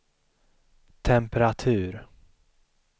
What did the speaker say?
temperatur